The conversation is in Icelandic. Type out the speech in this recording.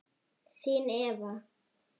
Þín, Eva.